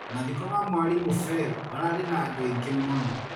Mathiko ma mwarimũ Fel mararĩ na andũ aingĩ mũno.